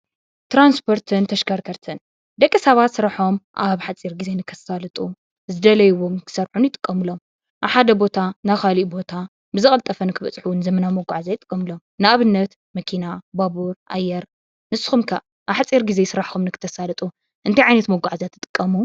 ትራንስፖርትን ተሽከርከርትን፡- ደቂ ሰባት ስርሖም ኣብሓፂር ግዜ ንከሳልጡ፣ ዝደለይዎ ንክሰርሑን ይጥቀምሎም፡፡ ኣብ ሓደ ቦታ ናብ ካሊእ ቦታ ብዝቀልጠፈ ንክበፅሑ እውን ዘመናዊ መጓዓዝያ ይጥቀምሎም፡፡ ንኣብነት መኪና፣ ባቡር፣ ኣየር ንስኩም ከ ኣብ ሓፂር ግዜ ስራሕኩም ንክተሳልጡ እንታይ ዓይነት መጓዓዝያ ትጥቀሙ?